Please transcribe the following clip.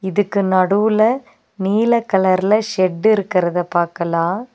இதுக்கு நடுவுல நீல கலர்ல ஷெட் இருக்றத பாக்கலா.